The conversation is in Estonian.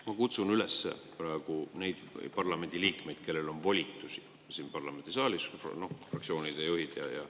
Ma kutsun üles praegu neid parlamendiliikmeid, kellel on volitusi siin parlamendisaalis – fraktsioonide juhid ja …